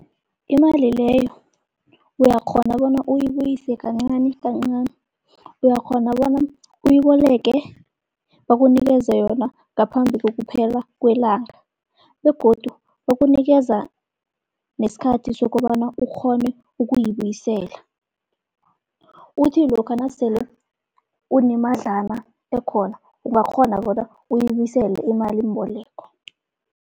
Imali leyo uyakghona bona uyibuyise kancani kancani. Uyakghona bona uyiboleke bakunikeze yona ngaphambi kokuphela kwelanga, begodu bakunikeza nesikhathi sokobana ukghone ukuyibuyisela. Uthi lokha nasele unemadlana ekhona, ungakghona bona uyibuyisele imalimboleko.